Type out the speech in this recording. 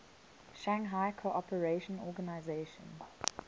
shanghai cooperation organization